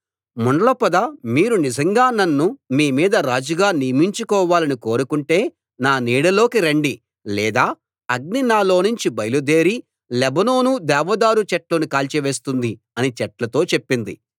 ముండ్ల పొద మీరు నిజంగా నన్ను మీ మీద రాజుగా నియమించుకోవాలని కోరుకుంటే నా నీడలోకి రండి లేదా అగ్ని నాలో నుంచి బయలుదేరి లెబానోను దేవదారు చెట్లను కాల్చివేస్తుంది అని చెట్లతో చెప్పింది